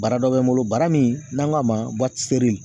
Bara dɔ bɛ n bolo, bara min n'an k'a ma